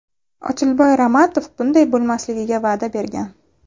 Ochilboy Ramatov bunday bo‘lmasligiga va’da bergan.